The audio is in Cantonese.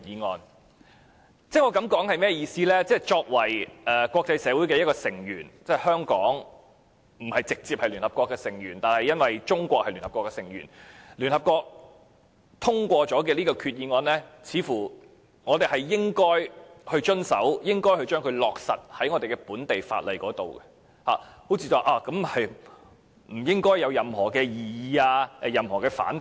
我的意思是，作為國際社會的其中一名成員，儘管香港並非直接屬聯合國的成員，但由於中國是聯合國成員，所以聯合國通過的決議，我們也應予以遵從，並在本地法例落實，這似乎不應該會引起任何異議或反對。